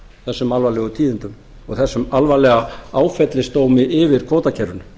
þessum alvarlegu tíðindum og þessum alvarlega áfellisdómi yfir kvótakerfinu